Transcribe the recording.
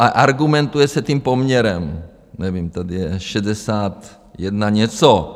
A argumentuje se tím poměrem, nevím, tady je 61 něco.